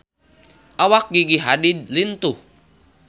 Awak Gigi Hadid lintuh